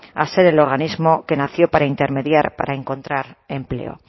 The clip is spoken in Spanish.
a ser el organismo que nació para intermediar para encontrar empleo